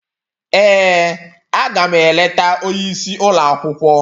Ee, aga m eleta onye isi ụlọ akwụkwọ